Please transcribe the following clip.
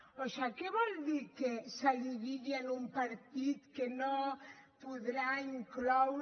o sigui què vol dir que se li digui a un partit que no podrà incloure